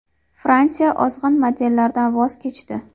Fransiya ozg‘in modellardan voz kechdi.